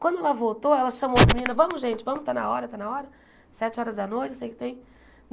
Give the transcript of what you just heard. Quando ela voltou, ela chamou os meninos, vamos, gente, vamos, está na hora, está na hora, sete horas da noite, não sei o que tem.